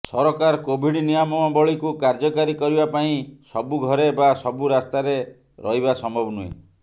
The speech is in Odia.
ସରକାର କୋଭିଡ ନିୟମାବଳୀକୁ କାର୍ଯ୍ୟକାରୀ କରିବା ପାଇଁ ସବୁ ଘରେ ବା ସବୁ ରାସ୍ତାରେ ରହିବା ସମ୍ଭବ ନୁହେଁ